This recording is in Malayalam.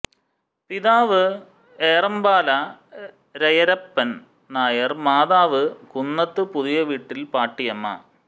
പിതാവ് ഏറമ്പാല രയരപ്പൻ നായർ മാതാവ് കുന്നത്ത് പുതിയവീട്ടിൽ പാട്ടിയമ്മ